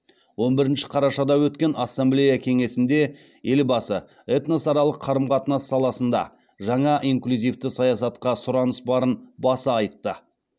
он бірінші қарашада өткен ассамблея кеңесінде елбасы этносаралық қарым қатынас саласында жаңа инклюзивті саясатқа сұраныс барын баса айтты